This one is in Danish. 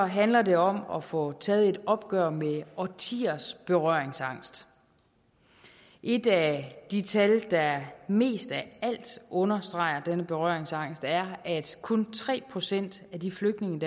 handler det om at få taget et opgør med årtiers berøringsangst et af de tal der mest af alt understreger denne berøringsangst er at kun tre procent af de flygtninge